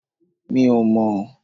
Mi ò mọ̀n